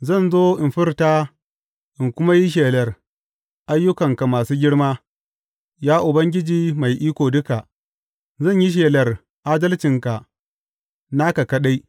Zan zo in furta in kuma yi shelar ayyukanka masu girma, ya Ubangiji Mai Iko Duka; zan yi shelar adalcinka, naka kaɗai.